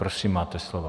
Prosím, máte slovo.